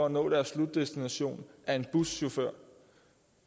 at nå deres slutdestination er en buschauffør